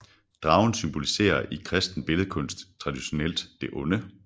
Dragen symboliserer i kristen billledkunst traditionelt det onde